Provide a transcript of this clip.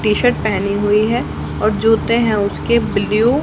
T shirt पहनी हुई है और जूते हैं उसके ब्लू --